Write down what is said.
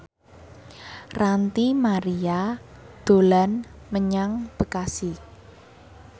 Ranty Maria dolan menyang Bekasi